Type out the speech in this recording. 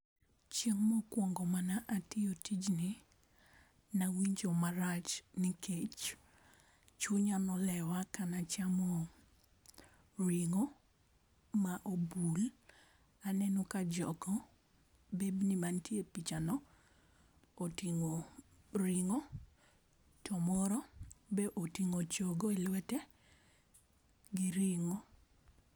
Chieng' mokuongo ma ne atiyo tijni ne awinjo marach nikech chunya ne olewa, ka ne achamo ring'o ma obul, aneno ka jogo bebni gi ma ni e pichano oting'o ring'o to moro oting'o chogo e lwete gi ring'o